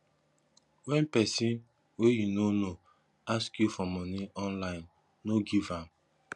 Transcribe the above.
wen pesin wey you no know ask you for money online no give am